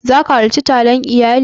Za ki halarci taron iyali?